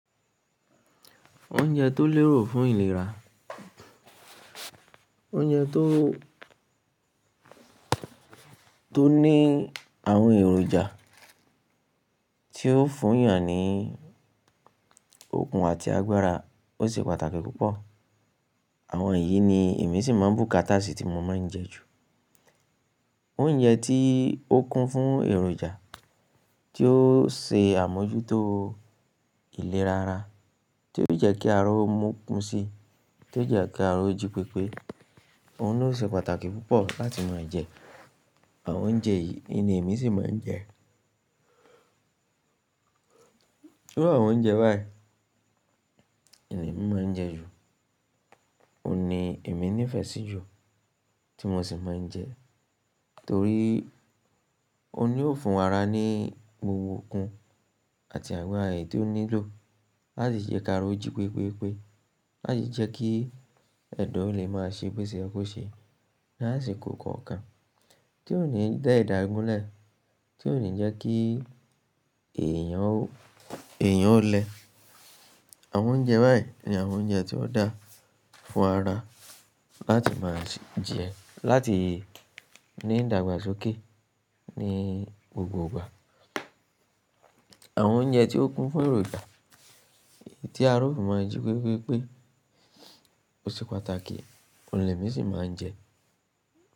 Oúnjẹ tó lérò fún ìlera, oúnjẹ tó, tó ní àwọn èròjà tí ó fún èèyàn ní okun àti agbára, ó ṣe pàtàkì púpọ̀. Àwọn yìí ni èmi sì máa ń bùkátà sí tí mo máa ń jẹ ju. Oúnjẹ tí ó kún fún èròjà, tí ó ṣe àmójútó ìlera ara, tí yóò jẹ́ kí ara ó mu kun si, tí yóò jẹ́ kí ara ó jí pépé. Òun ní o ṣe pàtàkì púpọ̀ láti máa jẹ. Àwọn oúnjẹ yìí ni èmi sì máa ń jẹ. Iru àwọn oúnjẹ báyìí ni èmi máa ń jẹ ju. Ó ni èmi nífẹ̀ẹ́ sí ju, tí mo sì máa ń jẹ torí ó ní ó fún ara ní gbogbo okun àti agbára èyí tí ó nílò láti jẹ́ kí ara ó jí pépé pé, láti jẹ́ kí ẹ̀dà ó lè máa ṣe bo ṣè yẹ̀ kò ṣe, lá sì kó kọ̀ọ̀kan tí ó ní dá ẹ̀dá gúnlẹ̀, tí ó ní jẹ́ kí èèyàn, èèyàn ó lẹ. Àwọn oúnjẹ báyìí ni àwọn oúnjẹ tí ó dáa fún ara láti máa jẹ, láti ní ìdàgbàsókè ní gbogbo ìgbà. Àwọn oúnjẹ tí ó kún fún èròjà, tí ara ó fi máa ń jí pépé pé ó ṣe pàtàkì, òun ni èmi sì máa ń jẹ.